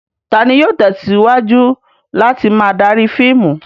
Ta ni yóò tẹ̀síwájú láti máa darí fíìmù?